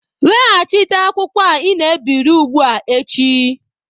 Weghachite akwụkwọ a ị na-ebiri ugbua echi!